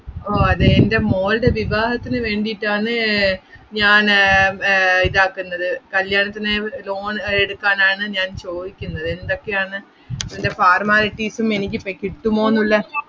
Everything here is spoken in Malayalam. ഓ അതേ, എൻ്റെ മോൾടെ വിവാഹത്തിന് വേണ്ടീട്ടാണ് ഞാന് ആഹ് വ്~ ഇത് ആക്കുന്നത് കല്യാണത്തിനായി loan എടുക്കാൻ ആണ് ഞാൻ ചോദിക്കുന്നത് എന്തൊക്കെയാണ് ഇതിൻ്റെ formalities ഉം എനിക്ക് ഇപ്പോ കിട്ടുമോന്നുള്ള